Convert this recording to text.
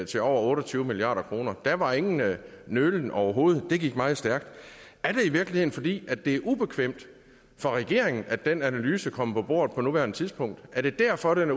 til over otte og tyve milliard kroner der var ingen nølen overhovedet det gik meget stærkt er det i virkeligheden fordi det er ubekvemt for regeringen at den analyse kommer på bordet på nuværende tidspunkt er det derfor det